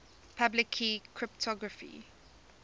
public key cryptography